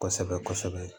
Kosɛbɛ kosɛbɛ